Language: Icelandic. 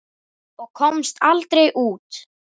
Ég komst aldrei út.